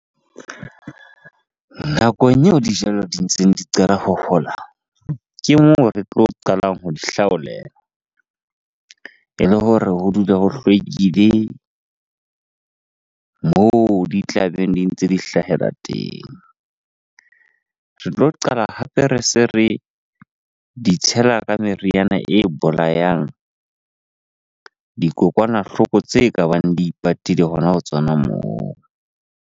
Nakong eo dijalo di ntseng di qala ho hola. Ke moo re tlo qalang ho di hlaolela ele hore ho dule ho hlwekile moo di tla beng di ntse di hlahela teng. Re tlo qala hape re se re di tshela ka meriana e bolayang dikokwanahloko tse ka bang di ipatile hona ho tsona moo.